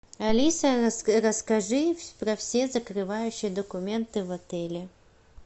алиса расскажи про все закрывающие документы в отеле